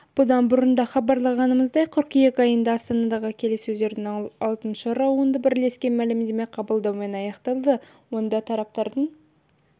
бұдан бұрын да хабарлағанымыздай қыркүйек айында астанадағы келіссөздердің алтыншы раунды бірлескен мәлімдеме қабылдаумен аяқталды онда тараптардың